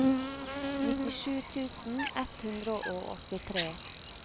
nittisju tusen ett hundre og åttitre